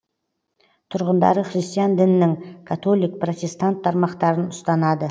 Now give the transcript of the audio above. тұрғындары христиан дінінің католик протестант тармақтарын ұстанады